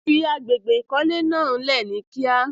Fí àgbégbé ikọ̀lẹ̀ náà lé ní kí à.